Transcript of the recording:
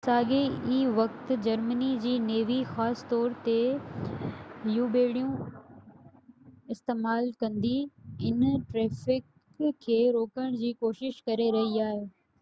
ساڳئي وقت جرمني جي نيوي خاص طور تي يو ٻيڙيون استعمال ڪندي ان ٽريفڪ کي روڪڻ جي ڪوشش ڪري رهي هئي